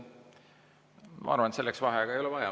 Ma arvan, et selleks ei ole vaheaega vaja.